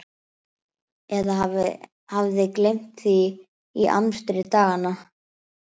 Eða hafði gleymt því í amstri daganna.